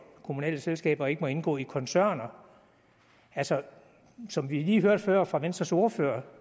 kommunale selskaber ikke må indgå i koncerner altså som vi lige hørte før fra venstres ordfører